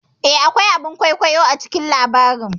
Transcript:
Eh, akwai a bin kwaikwayo a cikin labarin